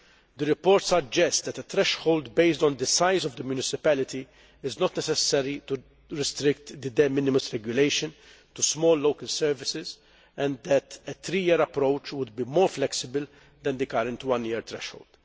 The report suggests that a threshold based on the size of the municipality is not necessary to restrict the de minimis regulation to small local services, and that a three year approach would be more flexible than the current one year threshold.